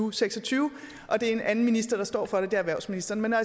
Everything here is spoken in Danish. og seks og tyve og det er en anden minister der står for det det er erhvervsministeren men når